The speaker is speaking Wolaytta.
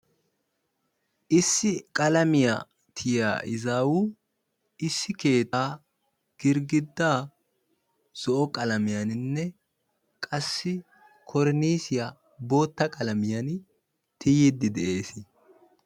issi qalamiya tiyiya izaawu keettaa girgidaa zo'o qalamiyanninne qassi koroniisiya boota qalamiyan tiyiidi dees.